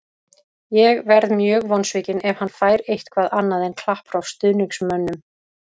Ég verð mjög vonsvikinn ef hann fær eitthvað annað en klapp frá stuðningsmönnum.